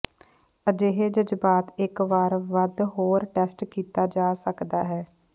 ਅਜਿਹੇ ਜਜ਼ਬਾਤ ਇਕ ਵਾਰ ਵੱਧ ਹੋਰ ਟੈਸਟ ਕੀਤਾ ਜਾ ਸਕਦਾ ਹੈ